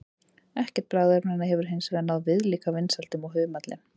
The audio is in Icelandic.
Ekkert bragðefnanna hefur hins vegar náð viðlíka vinsældum og humallinn.